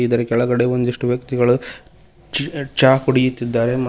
ಇದರ ಕೆಳಗಡೆ ಒಂದಿಷ್ಟು ವ್ಯಕ್ತಿಗಳು ಚಹಾ ಕುಡಿಯುತ್ತಿದ್ದಾರೆ.